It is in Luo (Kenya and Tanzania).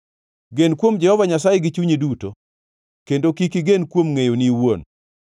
Gen kuom Jehova Nyasaye gi chunyi duto, kendo kik igen kuom ngʼeyoni iwuon;